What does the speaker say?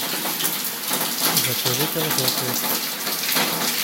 закажи конфеты